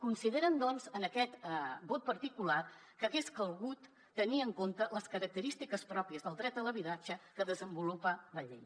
consideren doncs en aquest vot particular que hagués calgut tenir en compte les característiques pròpies del dret a l’habitatge que desenvolupa la llei